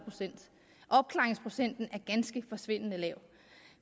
opklaringsprocenten er forsvindende lav